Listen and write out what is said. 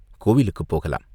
கோவிலுக்குப் போகலாம்!